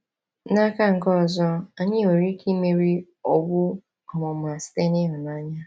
N’aka nke ọzọ, anyị nwere ike imeri owu ọmụma site n’ịhụnanya.